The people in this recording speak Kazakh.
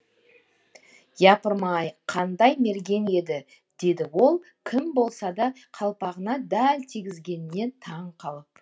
япырмай қандай мерген еді деді ол кім болса да қалпағына дәл тигізгеніне таң қалып